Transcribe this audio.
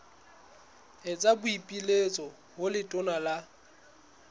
etsa boipiletso ho letona la